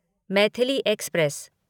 Maithili express